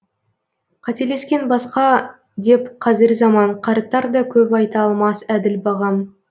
қателескен басқа деп қазір заман қарттар да көп айта алмас әділ бағам